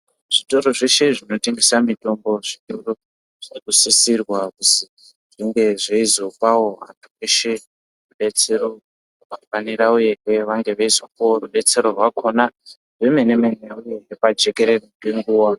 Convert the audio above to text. Zvitoro zveshe zvinotengesa mitombo zvinosisirwa kuzi zvinge zveizopawo vantu veshe mutombo rubetsero rwakafanira uye veifanira kunge veizopawo rubatsiro rwakona rwemene mene uye pajekerere ngenguwa.